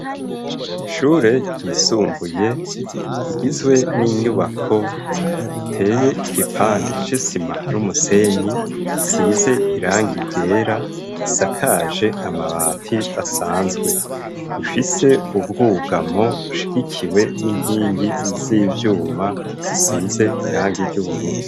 Ishure ryisumbuye igizwe n'inyubako teye igipande sesima n'umusenyi size iranga igera isakaje amabati asanzwe ifise ubwugamo ushigikiwe n'inkingi z'ivyuma sia ize iranga iry'ubururu.